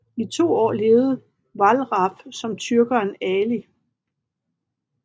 I to år levede Wallraff som tyrkeren Ali